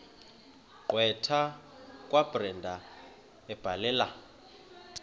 gqwetha kabrenda ebhalela